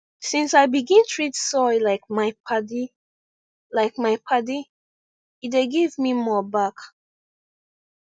since i begin treat soil like my padi like my padi e dey give me more back